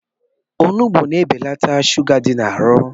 Onugbu na-ebelata shuga dị n'arụ